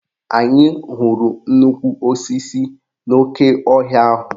Anyị hụrụ nnukwu osisi n'oke ọhịa ahụ.